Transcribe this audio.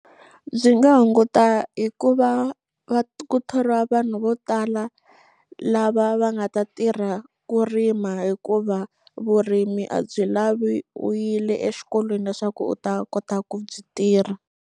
Byi nga hunguta hi ku va va ku thoriwa vanhu vo tala lava va nga ta tirha ku rima hikuva vurimi a byi lavi u yile exikolweni leswaku u ta kota ku byi tirha.